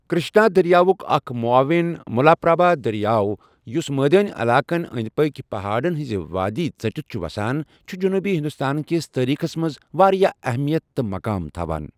کرشنا دریاوُک اکھ معاون ملاپرابھا دریاو یُس مٲدٲنی علاقَن انٛدۍ پٔکۍ پہاڑن ہنٛز وادی ژٔٹِتھ چھُ وسان چھُ جنوبی ہندوستان کِس تٲریٖخس منٛز واریاہ اہمِیت تہٕ مقام تھاوان۔